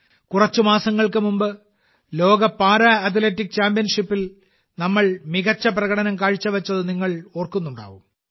കുറച്ച് മാസങ്ങൾക്ക് മുമ്പ് ലോക പാരാ അത്ലറ്റിക് ചാമ്പ്യൻഷിപ്പിൽ നമ്മൾ മികച്ച പ്രകടനം കാഴ്ചവെച്ചത് നിങ്ങൾ ഓർക്കുന്നുണ്ടാകും